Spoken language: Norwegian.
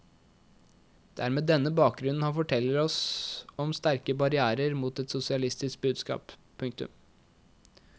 Det er med denne bakgrunnen han forteller om sterke barrierer mot et sosialistisk budskap. punktum